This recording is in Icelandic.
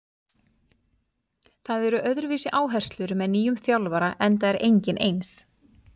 Það eru öðruvísi áherslur með nýjum þjálfara enda er enginn eins.